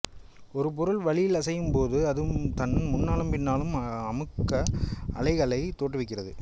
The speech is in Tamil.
ஒரு பொருள் வளியில் அசையும் போது அது தன் முன்னாலும் பின்னாலும் அமுக்க அலைகளை தோற்றுவிக்கிறது